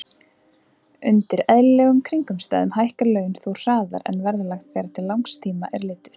Undir eðlilegum kringumstæðum hækka laun þó hraðar en verðlag þegar til langs tíma er litið.